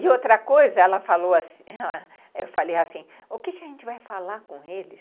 E outra coisa, ela falou assim, eu falei assim, o que a gente vai falar com eles?